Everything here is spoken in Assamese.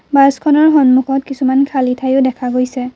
বাছখনৰ সন্মুখত কিছুমান খালী ঠাইও দেখা গৈছে।